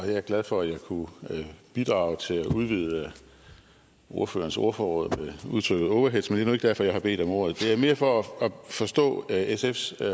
jeg er glad for at jeg kunne bidrage til at udvide ordførerens ordforråd med udtrykket overheads men det er nu ikke derfor jeg har bedt om ordet det er mere for at forstå sfs